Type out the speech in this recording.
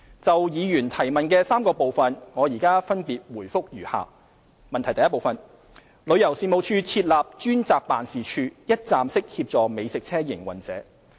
就議員質詢的3個部分，我現分別答覆如下：一旅遊事務署設立了專責辦事處，一站式協助美食車營運者。